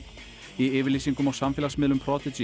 í yfirlýsingum á samfélagsmiðlum